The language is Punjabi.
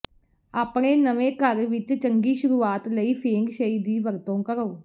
ਆਪਣੇ ਨਵੇਂ ਘਰ ਵਿੱਚ ਚੰਗੀ ਸ਼ੁਰੂਆਤ ਲਈ ਫੇਂਗ ਸ਼ਈ ਦੀ ਵਰਤੋਂ ਕਰੋ